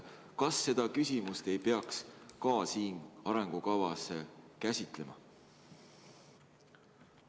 Kas seda teemat ei peaks ka siin arengukavas käsitlema?